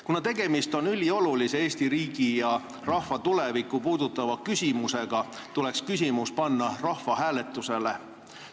Kuna tegemist on üliolulise Eesti riigi ja rahva tulevikku puudutava küsimusega, tuleks küsimus panna rahvahääletusele.